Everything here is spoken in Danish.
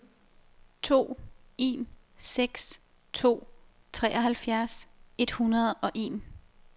to en seks to treoghalvfjerds et hundrede og en